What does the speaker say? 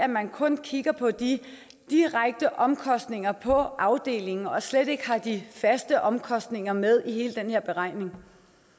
man kun kigger på de direkte omkostninger på afdelingen og slet ikke har de faste omkostninger med i hele den her beregning